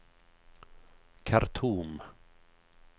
Khartoum